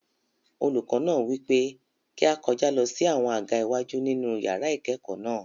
Olùkọ náà wípé kí á kọjá lọ sí àwọn àga iwájú nínú yàrá ìkẹ́kọ̀ọ́ náà.